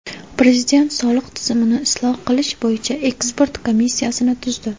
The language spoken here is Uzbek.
Prezident soliq tizimini isloh qilish bo‘yicha ekspert komissiyasini tuzdi.